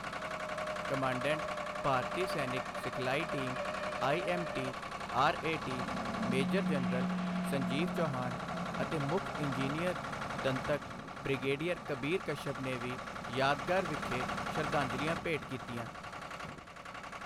Commandant, ਭਾਰਤੀ ਸੈਨਿਕ ਸਿਖਲਾਈ team IMTRAT major general Sanjeev Chauhan ਅਤੇ ਮੁੱਖ ਇੰਜੀਨੀਅਰ ਦੰਤਕ ਬ੍ਰਿਗੇਡੀਅਰ ਕਬੀਰ ਕਸ਼ਯਪ ਨੇ ਵੀ ਯਾਦਗਾਰ ਵਿਖੇ ਸ਼ਰਧਾਂਜਲੀਆਂ ਭੇਟ ਕੀਤੀਆਂ।